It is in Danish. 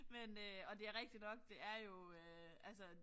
Men øh og det rigtig nok det er jo øh altså